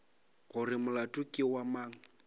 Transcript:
gore molato ke wa mang